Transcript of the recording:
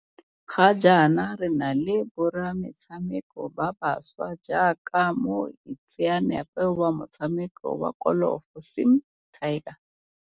Ga jaana re na le borametshameko ba bašwa jaaka mo itseanape wa motshameko wa kolofo Sim 'Tiger.